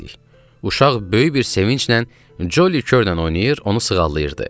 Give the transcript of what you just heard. Uşaq böyük bir sevinclə Coli Körlə oynayır, onu sığallayırdı.